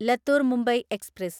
Latur Mumbai express